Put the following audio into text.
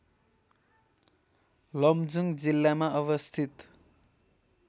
लमजुङ जिल्लामा अवस्थित